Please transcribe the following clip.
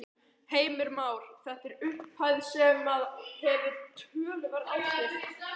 Heimir Már: Þetta er upphæð sem að hefur töluverð áhrif?